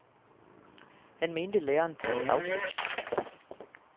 Han mente læreren burde afsættes.